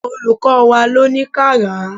Olùkọ́ wá ló ní ká rà á.